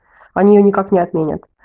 они её никак не отменят